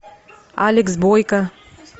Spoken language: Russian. алекс бойко